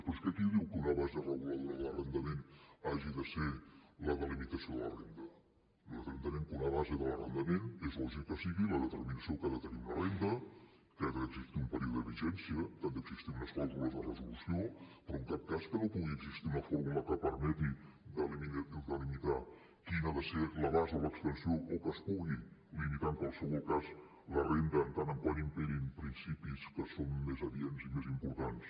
però és que qui ho diu que una base reguladora de l’arrendament hagi de ser la delimitació de la renda nosaltres entenem que una base de l’arrendament és lògic que sigui la determinació que ha de tenir una renda que ha d’existir un període de vigència que han d’existir unes clàusules de resolució però en cap cas que no pugui existir una fórmula que permeti delimitar quin ha de ser l’abast o l’extensió o que es pugui limitar en qualsevol cas la renda en tant que imperin principis que són més adients i més importants